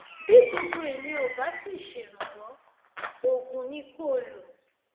bí gbogbo ìyẹn ò bá sì ṣèrànwọ oògùn ni kó o lò